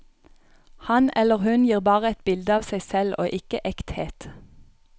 Han eller hun gir bare et bilde av seg selv og ikke ekthet.